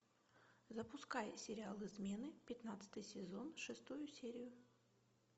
запускай сериал измены пятнадцатый сезон шестую серию